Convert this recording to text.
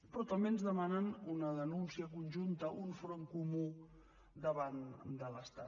però també ens demanen una denúncia conjunta un front comú davant de l’estat